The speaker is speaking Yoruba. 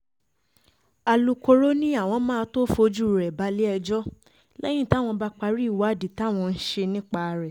alūkkóró ni àwọn máa tóó fojú rẹ balẹ̀-ẹjọ́ lẹ́yìn táwọn bá parí ìwádìí táwọn ń ṣe nípa rẹ̀